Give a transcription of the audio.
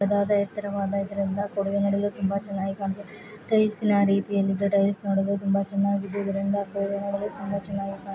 ದಾದ ಎತ್ತರವಾದ ಇದ್ರಿಂದ ಕೂಡಿಗೆ ನಡೆಲು ತುಂಬಾ ಚೆನ್ನಾಗಿ ಕಾಂತದ ತುಂಬಾ ಚೆನ್ನಾಗಿ --